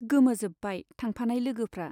गोमोजोब्बाय थांफानाय लोगोफ्रा।